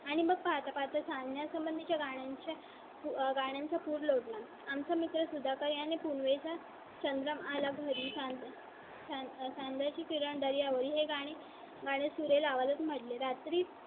आणि मग पाहता पाहता चांगल्या संबंधीचे गाण्यांचे, गाण्या चा पूर लोट ला. आम चा मित्र सुधाकर आणि पुनवे चा चंद्रम आला. घरी सांगाय च्या सांध्या ची किरण दर्या वरी आणि गाणे सुरेल आवाजात मध्ये रात्री